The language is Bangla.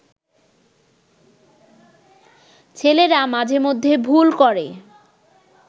ছেলেরা মাঝে মধ্যে ভুল করে